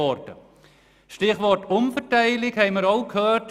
Das Stichwort Umverteilung haben wir auch gehört.